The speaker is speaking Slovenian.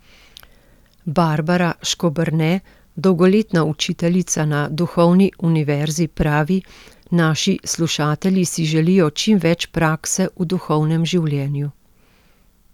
Barbara Škoberne, dolgoletna učiteljica na Duhovni univerzi pravi: 'Naši slušatelji si želijo čim več prakse v duhovnem življenju.